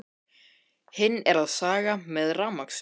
Hinn er að saga með rafmagnssög.